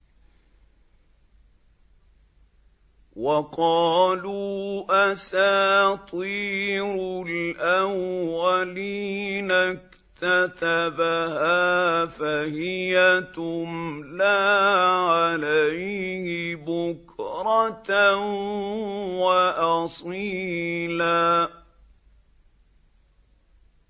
وَقَالُوا أَسَاطِيرُ الْأَوَّلِينَ اكْتَتَبَهَا فَهِيَ تُمْلَىٰ عَلَيْهِ بُكْرَةً وَأَصِيلًا